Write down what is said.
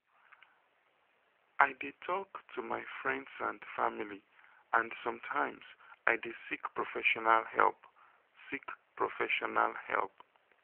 i dey talk to my friends and family and sometimes i dey seek professional help. seek professional help.